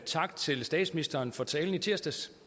tak til statsministeren for talen i tirsdags